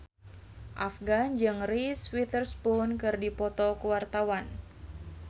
Afgan jeung Reese Witherspoon keur dipoto ku wartawan